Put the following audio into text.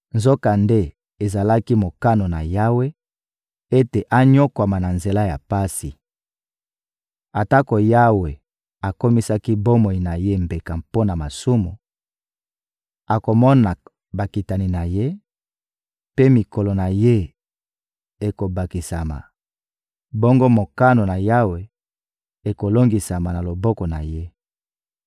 Nzokande, ezalaki mokano na Yawe ete anyokwama na nzela ya pasi. Atako Yawe akomisaki bomoi na ye mbeka mpo na masumu, akomona bakitani na ye mpe mikolo na ye ekobakisama; bongo mokano na Yawe ekolongisama na loboko na ye.